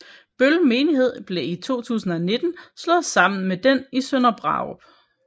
Bøl Menighed blev i 2019 slået sammen med den i Sønderbrarup